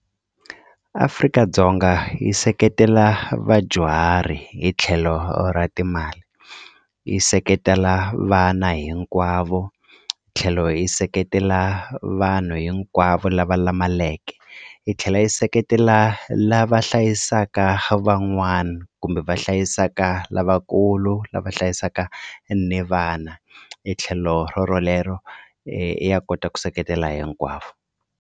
Afrika-Dzonga yi seketela vadyuhari hi tlhelo ra timali yi seketela vana hinkwavo tlhelo yi seketela vanhu hinkwavo lava lamaleke yi tlhela yi seketela lava hlayisaka van'wana kumbe va hlayisaka lavakulu lava hlayisaka ni vana e tlhelo ro rolero ya kota ku seketela hinkwavo.